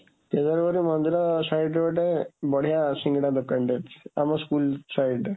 କେଦାରଗୌରୀ ମନ୍ଦିର sideରେ ଗୋଟେ ବଡ଼ିଆ ସିଙ୍ଗଡ଼ା ଦୋକାନଟେ ଅଛି, ଆମ school side ରେ।